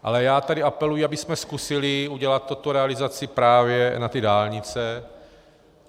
Ale já tady apeluji, abychom zkusili udělat tuto realizaci právě na ty dálnice.